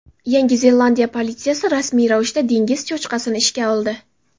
Yangi Zelandiya politsiyasi rasmiy ravishda dengiz cho‘chqasini ishga oldi.